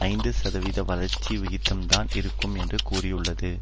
ஐந்து சதவிகித வளர்ச்சி விகிதம்தான் இருக்கும் என்று கூறியுள்ளது